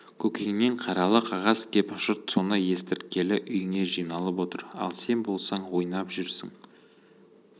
көкеңнен қаралы қағаз кеп жұрт соны естірткелі үйіңе жиналып отыр ал сен болсаң ойнап жүрсің